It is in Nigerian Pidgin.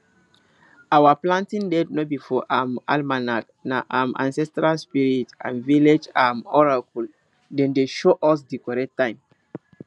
our planting date no be for um almanac na um ancestral spirit and village um oracle dem dey show us di correct time